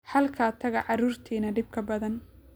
Halkaa taga caruurtiina dhibka badan.